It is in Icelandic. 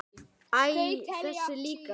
Æ, þessi líka